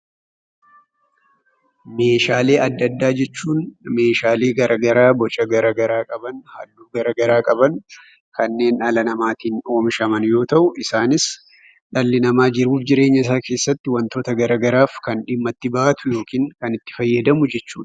Meeshaalee adda addaa jechuun meeshaalee gara garaa boca gara garaa qaban, halluu gara garaa qaban, kanneen dhala namaatiin oomishaman yoo ta'u isaanis dhalli namaa jiruuf jireenyasaa keessatti wantoota gara garaaf kan dhimma itti ba'atu yookiin kan itti fayyadamu jechuudha.